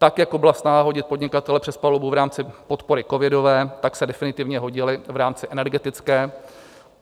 Tak jako byla snaha hodit podnikatele přes palubu v rámci podpory covidové, tak se definitivně hodili v rámci energetické.